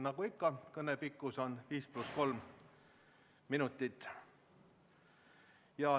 Nagu ikka, kõne pikkus on viis pluss kolm minutit.